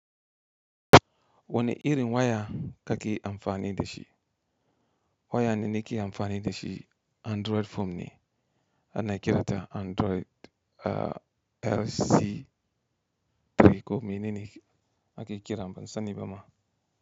Wani irin waya kake amfani da shi? Waya da nake amfani da shi Android phone ne? Ana kirata Android RC3 ko menene ake kira ban sani ba ma.